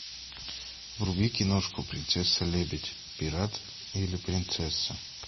вруби киношку принцесса лебедь пират или принцесса